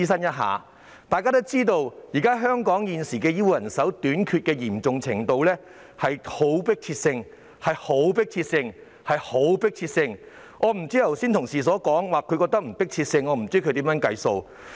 眾所周知，香港現時醫護人手短缺的嚴重程度是極具迫切性，有同事剛才表示不覺得具迫切性，我不知道他是如何得出的。